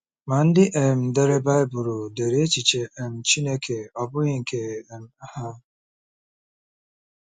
Ma ndị um dere Baịbụl dere echiche um Chineke ọ bụghị nke um ha.